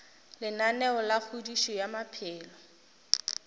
lenaneo la kgodišo ya maphelo